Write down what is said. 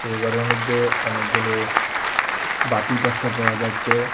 এই গরের মইদ্যে অনেকগুলো বাতি দ্যাখতে পাওয়া যাচ্চে।